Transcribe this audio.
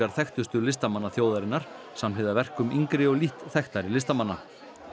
þekktustu listamanna þjóðarinnar samhliða verkum yngri og lítt þekktari listamanna